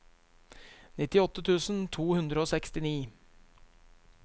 nittiåtte tusen to hundre og sekstini